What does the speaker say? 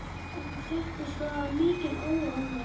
Þetta fréttist og það er mikil óánægja.